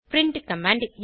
print command